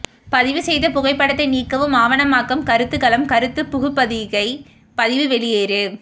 பதிவு செய்த புகைப்படத்தை நீக்கவும் ஆவணமாக்கம் கருத்துக்களம் கருத்து புகுபதிகை பதிவு வெளியேறு